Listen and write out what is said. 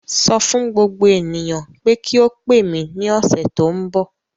Sọ fún gbogbo ènìyàn pé kí ó pè mí ní ọ̀sẹ̀ tó ń bọ̀.